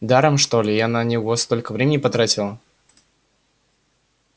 даром что ли я на него столько времени потратила